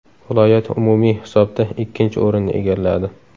Viloyat umumiy hisobda ikkinchi o‘rinni egalladi.